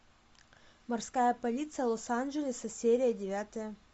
морская полиция лос анджелеса серия девятая